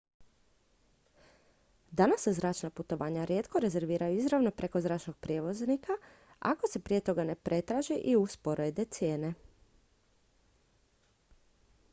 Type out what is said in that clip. danas se zračna putovanja rijetko rezerviraju izravno preko zračnog prijevoznika ako se prije toga ne pretraže i usporede cijene